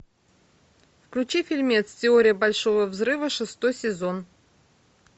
включи фильмец теория большого взрыва шестой сезон